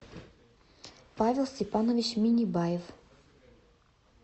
павел степанович миннебаев